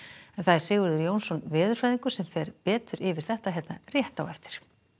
Sigurður Jónsson veðurfræðingur fer betur yfir þetta hér rétt á eftir